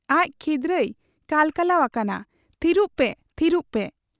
ᱟᱡ ᱠᱷᱤᱫᱽᱨᱟᱹᱭ ᱠᱟᱞᱠᱟᱞᱟᱣ ᱟᱠᱟᱱᱟ 'ᱛᱷᱤᱨᱯᱮ, ᱛᱷᱤᱨᱯᱮ' ᱾